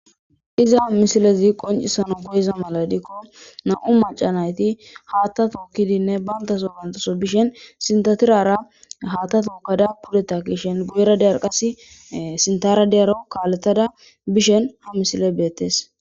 iza misilezi qoncisano koyiza maladikko na7u macanayti haatta tookkidinne bantaso bantaso bishen sintatirara haatta tookada pudeta kishen gu7era diyar qas sintara deyaro kaaletada bishen ha misile beettes